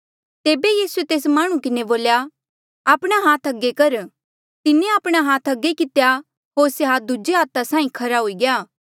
तेबे यीसूए तेस माह्णुं किन्हें बोल्या आपणा हाथ अगे कर तिन्हें आपणा हाथ अगे कितेया होर से हाथ दूजे हाथा साहीं खरा हुई गया